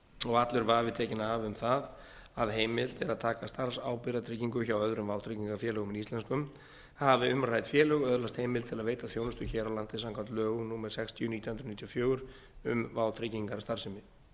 og allur vafi tekin af um það að heimilt er að taka starfsábyrgðartryggingu hjá öðrum vátryggingarfélögum en íslenskum hafi umrædd félög öðlast heimild til að veita þjónustu hér á landi samkvæmt lögum númer sextíu nítján hundruð níutíu og fjögur um vátryggingarstarfsemi